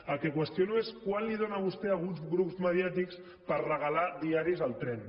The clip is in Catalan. el que qüestiono és quant els dóna vostè a alguns grups mediàtics per regalar diaris al tren